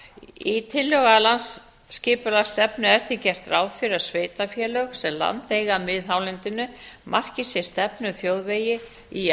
í tillögu að landsskipulagsstefnu er því gert ráð fyrir að sveitarfélög sem land eiga að miðhálendinu marki sér stefnu um þjóðvegi í